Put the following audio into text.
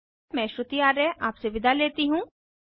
मैं श्रुति आर्य आपसे विदा लेती हूँ